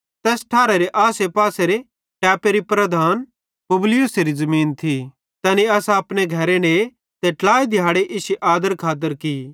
तैस ठैरारे आसेपासेरे टैपेरी प्रधान पुबलियुसेरी ज़मीन थी तैनी असां अपने घरे ने ते ट्लाई दिहाड़े इश्शी आदर खातर की